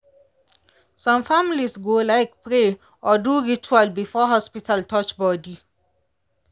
some families go like pray or do ritual before hospital touch body.